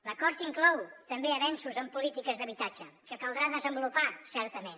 l’acord inclou també avenços en polítiques d’habitatge que caldrà desenvolupar certament